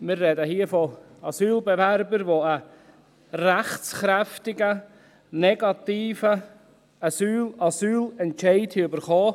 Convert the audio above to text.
Wir sprechen hier von Asylbewerbern, die einen rechtskräftigen negativen Asylentscheid erhalten haben.